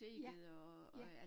Ja, ja